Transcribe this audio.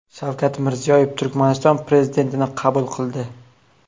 Shavkat Mirziyoyev Turkmaniston prezidentini qabul qildi.